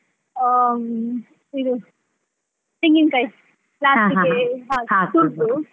ಹ್ಮ್‌ ಇದು ತೆಂಗಿನ ಕಾಯಿ last ಗೆ ತುರ್ದು.